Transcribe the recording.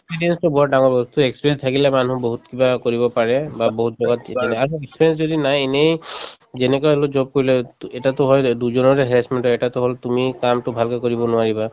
experience টো বৰ ডাঙৰ বস্তু experience থাকিলে মানুহ বহুত কিবা কৰিব পাৰে বা বহুত আৰু experience যদি নাই এনেই যেনেকৈ হলেও job কৰিলে to এটাতো হয় দুইজনৰে harassment হয় এটাতো হল তুমি কামটো ভালকে কৰিব নোৱাৰিবা